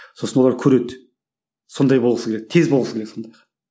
сосын олар көреді сондай болғысы келеді тез болғысы келеді сондайға